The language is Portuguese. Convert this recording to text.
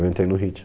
Eu entrei no